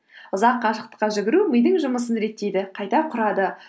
ұзақ қашықтыққа жүгіру мидың жұмысын реттейді қайта құрады